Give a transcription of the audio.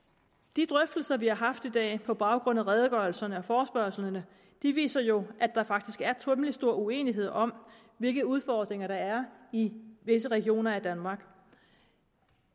de drøftelser vi har haft i dag på baggrund af redegørelserne og forespørgslerne viser jo at der faktisk er temmelig stor uenighed om hvilke udfordringer der er i visse regioner af danmark